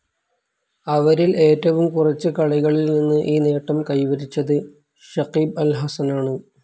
അവരിൽ ഏറ്റവും കുറച്ച് കളികളിൽ നിന്ന് ഈ നേട്ടം കൈവരിച്ചത് ഷക്കീബ് അൽ ഹസനാണ്.